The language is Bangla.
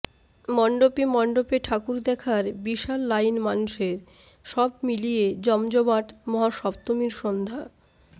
মণ্ডপে মণ্ডপে ঠাকুর দেখার বিশাল লাইন মানুষের সব মিলিয়ে জমজমাট মহাসপ্তমীর সন্ধ্যা